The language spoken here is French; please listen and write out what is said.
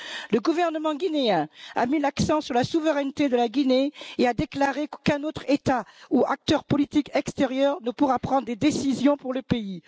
Le gouvernement guinéen a mis l'accent sur la souveraineté de la Guinée et a déclaré qu'aucun autre État ou acteur politique extérieur ne pourra prendre des décisions pour le pays.